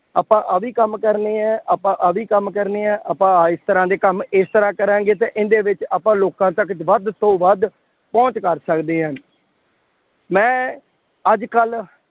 ਆਪਾਂ ਆਹ ਵੀ ਕੰਮ ਕਰਨੇ ਹੈ, ਆਪਾਂ ਆਹ ਵੀ ਕੰਮ ਕਰਨੇ ਹੈ, ਆਪਾਂ ਆਹ ਇਸ ਤਰ੍ਹਾ ਦੇ ਕੰਮ ਇਸ ਤਰ੍ਹਾਂ ਕਰਾਂਗੇ ਅਤੇ ਇਹਦੇ ਵਿੱਚ ਆਪਾਂ ਲੋਕਾਂ ਤੱਕ ਵੱਧ ਤੋਂ ਵੱਧ ਪਹੁੰਚ ਕਰ ਸਕਦੇ ਹਾਂ। ਮੈਂ ਅੱਜ ਕੱਲ੍ਹ